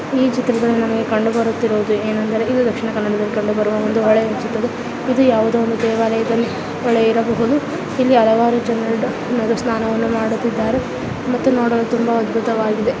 ಈ ಚಿತ್ರದಲ್ಲಿ ನಮಗೆ ಕಂಡುಬರುತ್ತಿರುವುದು ಏನಂದರೆ ಇದು ದಕ್ಷಿಣ ಕನ್ನಡದಲ್ಲಿ ಕಂಡುಬರುವ ಒಂದು ಹೊಳೆಯ ಚಿತ್ರ ಇದು ಯಾವುದೊ ಒಂದು ದೇವಲಯದಲ್ಲಿ ಹೊಳೆ ಇರಬಹುದು ಇಲ್ಲಿ ಹಲವಾರು ಜನರು ಸ್ನಾನವನ್ನು ಮಾಡುತ್ತಿದ್ದಾರೆ ಮತ್ತು ನೋಡಲು ತುಂಬಾ ಅದ್ಭುತವಾಗಿದೆ.